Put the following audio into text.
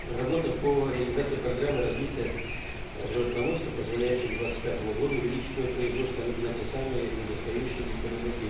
работа по реализации программы развития животноводства позволяющая к двадцать пятому году увеличить его производство на те самые недостающие для переработки